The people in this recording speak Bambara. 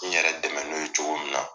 N yɛrɛ dɛmɛ n'o ye cogo min na.